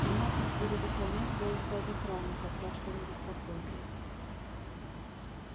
меня тут будут охранять целых пять охранников так что не беспокойтесь